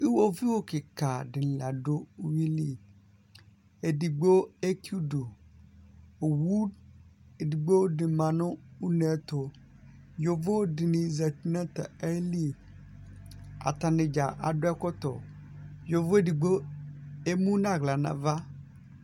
Ɩƴoʋɩʊ ƙɩƙa dini lavdʊ ʊwʊɩ lɩ Edigbo eki ʊdʊ Iwʊ edigbo di ma ŋʊ uŋevƴɛ tʊ Ƴoʋo dini zatɩ ŋʊ aƴɩlɩ Ata ŋɩɖza adʊvɛƙɔtɔ Ƴoʋo edigbo emʊ nawla nava